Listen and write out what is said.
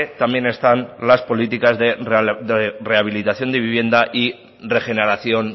también están las políticas de rehabilitación de vivienda y regeneración